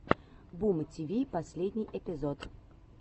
бумтиви последний эпизод